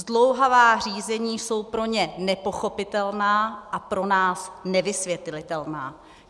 Zdlouhavá řízení jsou pro ně nepochopitelná a pro nás nevysvětlitelná.